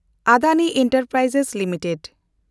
Adani enterprise limited